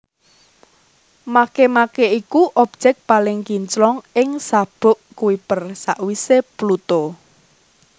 Makemake iku objèk paling kinclong ing sabuk Kuiper sawisé Pluto